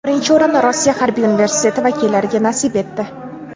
Birinchi o‘rin Rossiya Harbiy universiteti vakillariga nasib etdi.